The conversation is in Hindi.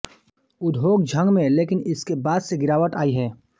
उद्योग झंग में लेकिन इसके बाद से गिरावट आई है